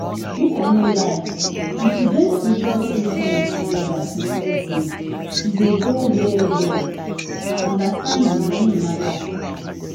make i no lie if you join spiritual treatment together with medicine e dey go well well. na understanding na him matter